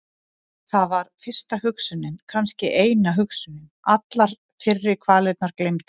Það var fyrsta hugsunin, kannski eina hugsunin- allar fyrri kvalirnar gleymdar.